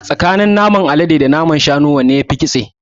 Tsakanin naman alade da naman shanu wanne yafi ƙitse?